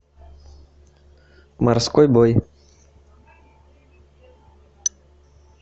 морской бой